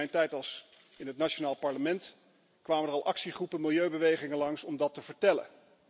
In mijn tijd in het nationaal parlement kwamen er al actiegroepen en milieubewegingen langs om dat te vertellen.